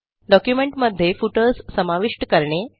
डॉक्युमेंटमध्ये फुटर्स समाविष्ट करणे